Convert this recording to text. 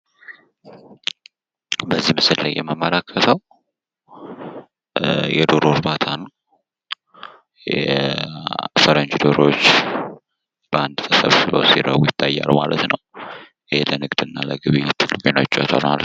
በዚህ ምስል ላይ የምመለከተው የዶሮ እርባታ ነው። የፈረንጅ ዶሮዎች በአንድ ተሰብስበው ይታያሉ። ማለት ነው። ይሄ ለንግድ እና ለግብይት የሚሆኑ ዶሮወች ናቸው ማለት ነው።